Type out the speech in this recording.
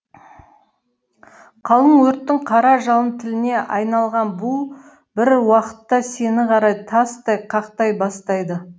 қалың өрттің қара жалын тіліне айналған бу бір уақытта сені қара тастай қақтай бастайды